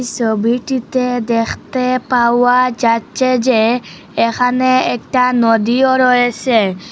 সবিটিতে দেখতে পাওয়া যাচ্ছে যে এখানে একটা নদীও রয়েসে।